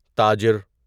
تاجر